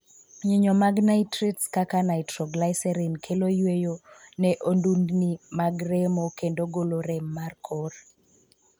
Nyinyo mag 'nitrates' kaka 'nitroglycerin' kelo yueyo ne ondundni mag remo kendo golo rem mar kor.